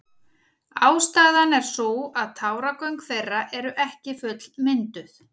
Ástæðan er sú að táragöng þeirra eru ekki fullmynduð.